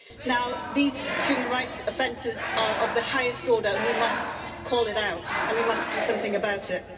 Now these human rights offences are of the highest order, and we must call it out and we must do something about it.